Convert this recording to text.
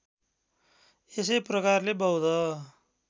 यसै प्रकारले बौद्ध